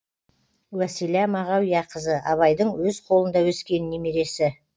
уәсила мағауияқызы абайдың өз қолында өскен немересі